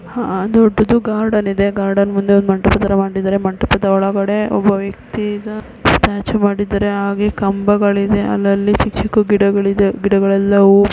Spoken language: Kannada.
ಆಹ್ಹ್ ದೊಡ್ಡದು ಗಾರ್ಡನ್ ಇದೆ. ಗಾರ್ಡನ್ ಮುಂದೆ ಮಂಟಪ ತರ ಮಾಡಿದರೆ ಮಂಟಪದ ಒಳಗಡೆ ಒಬ್ಬ ವ್ಯಕ್ತಿ ಈಗ ಸ್ಟ್ಯಾಚು ಮಾಡಿದರೆ ಹಾಗೆ ಕಂಬಗಳಿದೆ ಅಲ್ ಅಲ್ಲಿ ಚಿಕ್ ಚಿಕ್ ಗಿಡಗಳಿವೆ. ಗಿಡಗಳೆಲ್ಲ ಹೂವು--